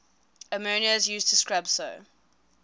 ammonia is used to scrub so